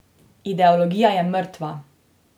Ideologija je mrtva.